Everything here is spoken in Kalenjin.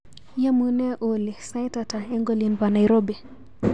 Yamunee Olly, sait ata eng olin pa Nairobi?